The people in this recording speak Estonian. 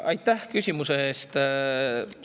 Aitäh küsimuse eest!